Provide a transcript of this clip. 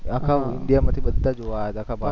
આખા ઈન્ડિયા માથી બધા જોવા આયા હતા આખા ભારતમાથી